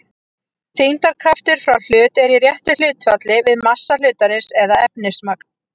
Þyngdarkraftur frá hlut er í réttu hlutfalli við massa hlutarins eða efnismagn.